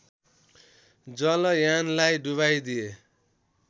जलयानलाई डुबाइ दिए